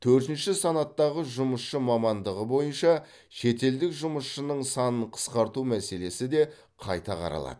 төртінші санаттағы жұмысшы мамандығы бойынша шетелдік жұмысшының санын қысқарту мәселесі де қайта қаралады